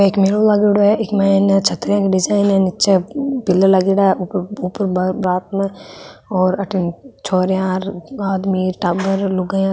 एक मेलो लागेड़ो है ईक मायने छतरिया की डिजाइन है निचे पिलर लागेड़ा है ऊपर ऊपर रात में और अठीने छोरिया आदमी टाबर लुगाईया।